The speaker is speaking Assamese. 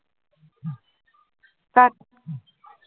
কাট